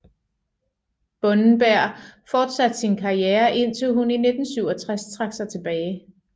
Bunnenberg fortsatte sin karriere indtil hun i 1967 trak sig tilbage